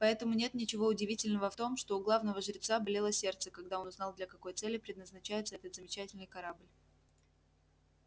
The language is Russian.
поэтому нет ничего удивительного в том что у главного жреца болело сердце когда он узнал для какой цели предназначается этот замечательный корабль